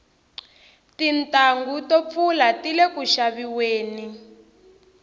tintanghu to pfula tile ku xaviweni